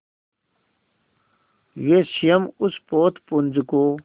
वे स्वयं उस पोतपुंज को